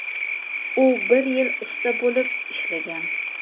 u bir yil usta bo‘lib ishlagan.